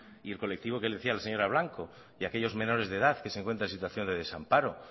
y el colectivo que decía la señora blanco y aquellos menores de edad que se encuentran en situación de desamparo